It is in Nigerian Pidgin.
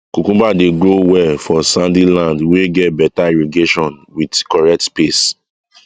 cucumber dey grow well for sandy land wey get better irrigation with correct space